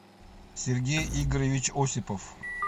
сергей игоревич осипов